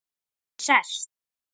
Ég sest.